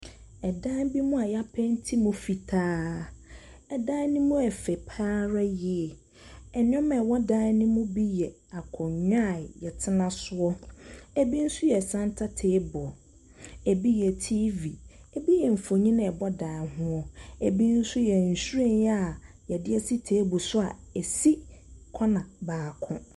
Dan bi mu a yɛapɛiti no fitaa, dan no mu yɛ fɛ pa ara yie. Ɛnneɛma a ɛwɔ dan mu yɛ akonnwa a yɛtena sio, ebi nso yɛ centre table, ebi yɛ TV, ebi yɛ mfoni a ɛbɔ dan ho, ebi nso yɛ nhwiren a yɛde asi table so a esi vconner baako.